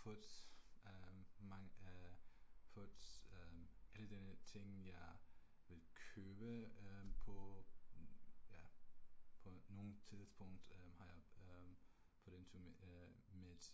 Put øh mange øh put øh alle denne ting jeg vil købe øh på ja på nogen tidspunkt har jeg put into mit